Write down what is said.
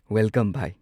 Welcome. ꯚꯥꯢ!